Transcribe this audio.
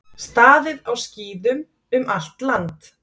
Staðið á skíðum um allt land